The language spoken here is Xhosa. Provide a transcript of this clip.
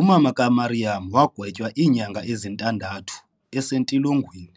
Umama ka Miriam wagwetywa iinyanga ezintandathu ese tilogweni,